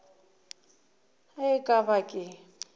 ge e ka ba ke